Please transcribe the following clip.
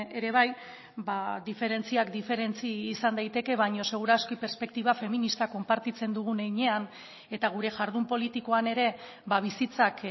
ere bai diferentziak diferentzia izan daiteke baino segur aski perspektiba feminista konpartitzen dugun heinean eta gure jardun politikoan ere bizitzak